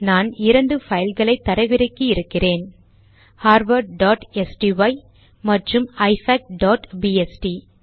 நான் இரண்டு பைல்களை தரவிறக்கி இருக்கிறேன் harvardஸ்டை மற்றும் ifacபிஎஸ்டி